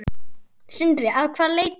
Sindri: Að hvaða leyti?